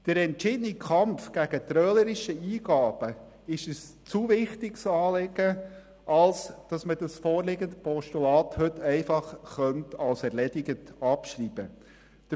Der entschiedene Kampf gegen trölerische Eingaben ist ein zu wichtiges Anliegen, als dass man das vorliegende Postulat heute einfach als erledigt abschreiben könnte.